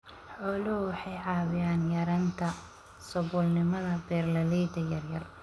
Xooluhu waxay caawiyaan yaraynta saboolnimada beeralayda yaryar.